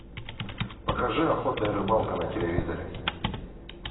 покажи охота и рыбалка на телевизоре